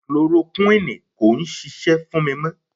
Kilorokuini kò ń ṣisẹ́ fún mi mọ.